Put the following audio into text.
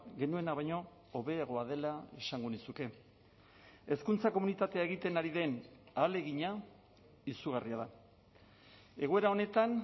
genuena baino hobeagoa dela esango nizuke hezkuntza komunitatea egiten ari den ahalegina izugarria da egoera honetan